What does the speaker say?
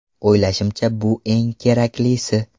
O‘ylashimcha bu eng keraklisi.